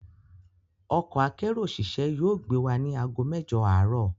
Ọkọ akérò òṣìṣẹ́ yóò gbé wa ní àgó mẹ́jọ̀ àárọ̀